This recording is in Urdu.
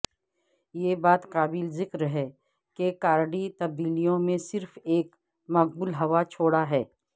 یہ بات قابل ذکر ہے کہ کارڈی تبدیلیوں میں صرف ایک مقبول حوا چھوڑا ہے